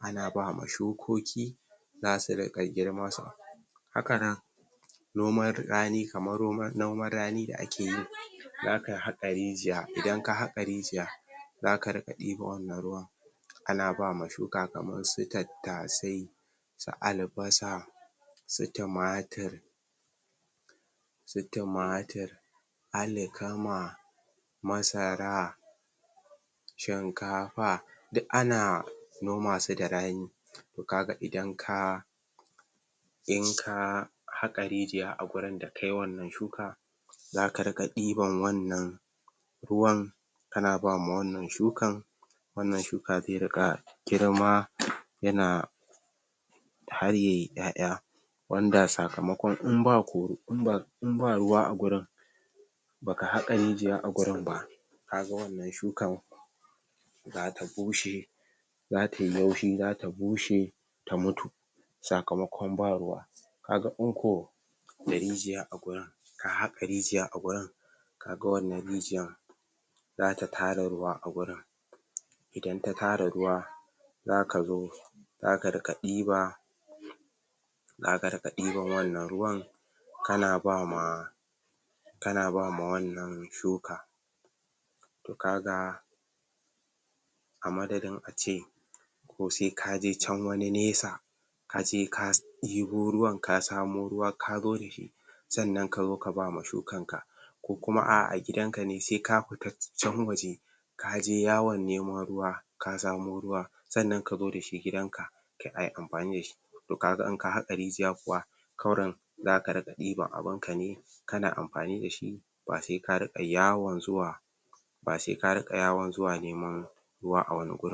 ana bama shukoki za su riƙa girma hakanan kamar noman rani da akeyi zaka haƙa rijiya idan ka haƙa rijiya zaka riƙa ɗiban wannan ruwan ana bama shuka kamarsu tattasai su albasa su tumatur alkama masara shinkafa duk ana nomasu da rani to kaga idan ka haƙa rijiya a wurin da kayi wannan shuka zaka riƙa ɗiban wannna ruwan ana bama wannnan shukan wannan shuka zai riƙa girma yana har yayi ƴa'ƴa wanda sakamaƙwan inba ruwa a gurin baka haƙa rijiya a gurin ba kaga wannan shukan zata bushe zatai laushi zata bushe ta mutu sakamaƙon ba ruwa kaga in ko da rijiya a gurin ka haƙa rijiya a gurin kaga wannan rijiyar zata tara ruwa a gurin idan ta tara ruwa zakazo kaza riƙa ɗiba zaka riƙa ɗiban wannan ruwan kana bama kana bama wannan shuka to kaga amadadin ace sai kaje can wani nesa kaje ka ɗibo ruwa kasamu ruwa kazo dashi sannan kazo ka bama shukan ka ko kuma a'a a gidan kane saika fita ka fita can waje kaje yawan nemo ruwa ka samu ruwa sannan kazo dashi gidanka ayi amgani dashi to kaga inka haƙa rijiya kuwa kurum zaka iya ɗiban abinka ne kana amfani dashi basai ka riƙa yawan zuwa ba saika riƙa yawan zuwa neman ruwa a wani gurin